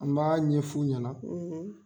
An b'a ɲɛfu ɲɛna